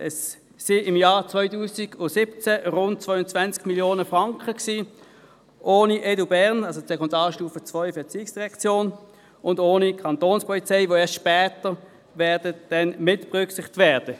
Es waren im Jahr 2017 rund 220 Mio. Franken, ohne EDUBERN, das heisst die Sekundarstufe II, ERZ, und ohne die Kantonspolizei Bern (Kapo Bern), welche erst in einer späteren Phase mitberücksichtigt werden.